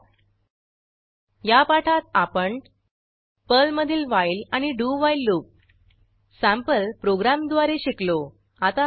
थोडक्यात या पाठात आपण पर्लमधील व्हाईल आणि डू व्हाईल लूप सँपल प्रोग्रॅमद्वारे शिकलो